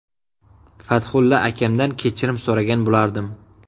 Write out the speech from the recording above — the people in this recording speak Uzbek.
Fathulla akamdan kechirim so‘ragan bo‘lardim.